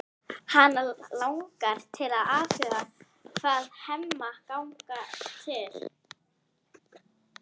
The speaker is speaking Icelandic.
Hana langar til að athuga hvað Hemma gangi til.